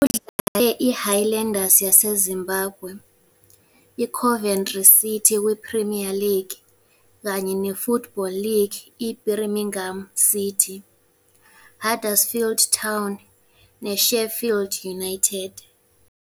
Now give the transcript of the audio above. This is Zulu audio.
Udlale iHighlanders yaseZimbabwe, iCoventry City kwiPremier League kanye neFootball League iBirmingham City, Huddersfield Town neSheffield United.